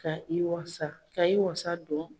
Ka i wasa ka i wasa don.